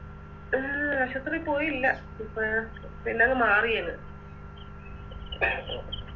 ഉം ആശുത്രി പോയില്ല ഇപ്പൊ പിന്നങ് മാറിയങ്